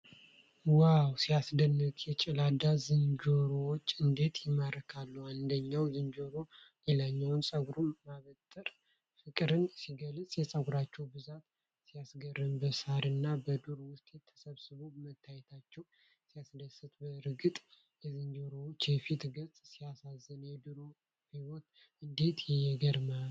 ዋው ሲያስደንቅ! የጭላዳ ዝንጀሮዎች እንዴት ይማርካሉ! አንደኛው ዝንጀሮ ለሌላው ፀጉር ማበጠሩ ፍቅርን ሲገልጽ! የፀጉራቸው ብዛት ሲያስገርም! በሣርና በዱር ውስጥ ተሰብስበው መታየታቸው ሲያስደስት! በእርግጥ የዝንጀሮው የፊት ገፅታ ሲያሳዝን! የዱር ሕይወት እንዴት ይገርማል!